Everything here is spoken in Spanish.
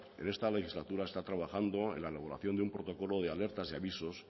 en esta legislatura se está trabajando en la elaboración de un protocolo de alertas y avisos